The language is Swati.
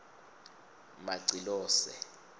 macilose